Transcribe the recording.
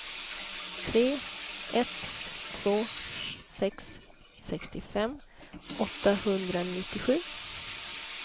tre ett två sex sextiofem åttahundranittiosju